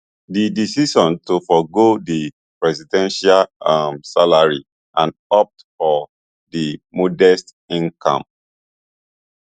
di decision to forgo di presidential um salary and opt for di modest income